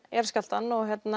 jarðskjálftann